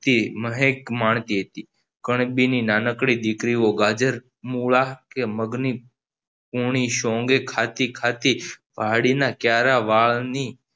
તી મહેક માંણતિ હતી કણબીની નાની દીકરી ઓ ગાજર મૂળા કે મગની પોનીસોંગે ખાતી ખાતી પહાડી નાં ક્યારા વાળની